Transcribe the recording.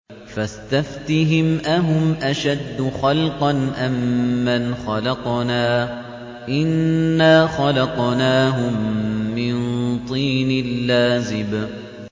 فَاسْتَفْتِهِمْ أَهُمْ أَشَدُّ خَلْقًا أَم مَّنْ خَلَقْنَا ۚ إِنَّا خَلَقْنَاهُم مِّن طِينٍ لَّازِبٍ